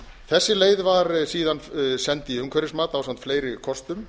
þessi leið var síðan send í umhverfismat ásamt fleiri kostum